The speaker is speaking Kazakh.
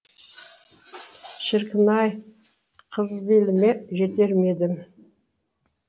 шіркін ай қызбеліме жетер ме едім